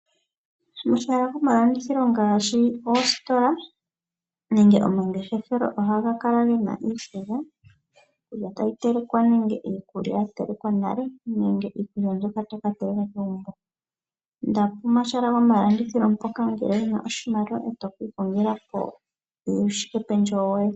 omahala gomalandithilo ngaashi oositola nenge omangefeshelo ohaga kala gena iikulya ,iikulya tayi telekwa nenge iikulya yatelekwa nale nenge iikulya mbyoka tayi ka telekwa kegumbo. Inda pomahala ngoka gomalandithilo mpoka ngele wuna oshimaliwa eeto kiikongelapo uushikependjewo woye.